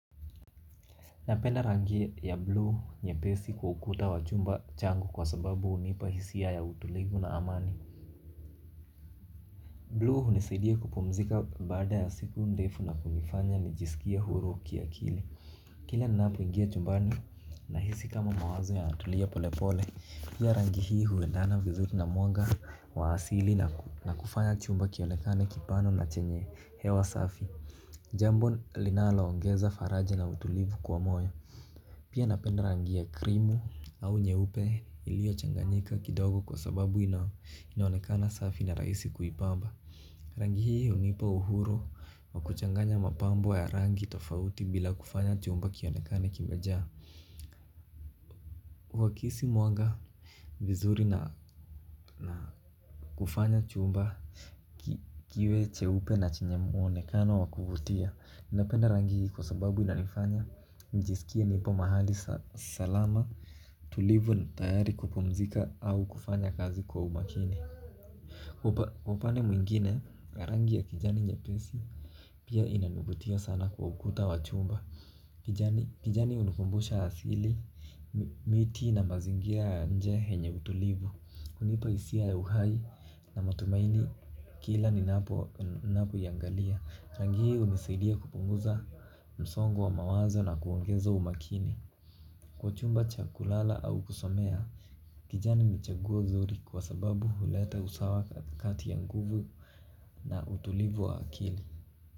Napenda rangi ya blue nyepesi kwa ukuta wa chumba changu kwa sababu hunipa hisia ya utulivu na amani. Blue hunisaidia kupumzika baada ya siku ndefu na kunifanya nijisikie huru kiakili. Kila ninaapoingia chumbani nahisi kama mawazo yanatulia pole pole. Pia rangi hii huendana vizuri na mwanga wa asili na kufanya chumba kionekane kipana na chenye hewa safi. Jambo linaloongeza faraja na utulivu kwa moyo. Pia napenda rangi ya krimu au nyeupe iliyochanganika kidogo kwa sababu inaonekana safi na rahisi kuipamba. Rangi hii hunipa uhuru wa kuchanganya mapambo ya rangi tofauti bila kufanya chumba kionekane kimejaa. Wakihisi mwanga vizuri na kufanya chumba kiwe cheupe na chenye muonekana wa kuvutia ninapenda rangi kwa sababu inanifanya nijisikie nipo mahali salama tulivu tayari kupumzika au kufanya kazi kwa umakini kwa upande mwingine rangi ya kijani nyepesi pia inanivutia sana kwa ukuta wa chumba. Kijani hunikumbusha asili miti na mazingira ya nje yenye utulivu hunipa hisia ya uhai na matumaini kila ninapoiangalia rangi hiyo hunisaidia kupunguza msongo wa mawazo na kuongeza umakini. Kwa chumba cha kulala au kusomea kijani ni chaguo zuri kwa sababu huleta usawa kati ya nguvu na utulivu wa akili.